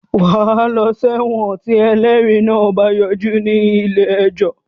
Wàá lọ sẹ́wọ̀n tí ẹlẹ́rìí náà bá yọjú ní ilé ẹjọ́